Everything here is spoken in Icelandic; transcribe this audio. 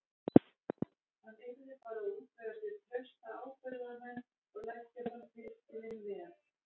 Hann yrði bara að útvega sér trausta ábyrgðarmenn og leggja fram tilskilin veð.